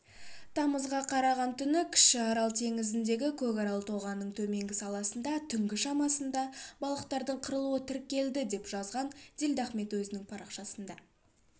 тамызға қараған түні кіші арал теңізіндегі көкарал тоғанының төменгі саласында түнгі шамасында балықтардың қырылуы тіркелді деп жазған дилдахмет өзінің парақшасында